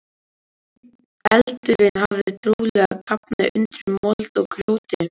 Eldurinn hafði trúlega kafnað undir mold og grjóti.